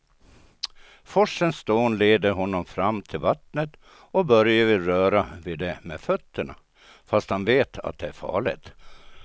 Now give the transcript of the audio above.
Forsens dån leder honom fram till vattnet och Börje vill röra vid det med fötterna, fast han vet att det är farligt.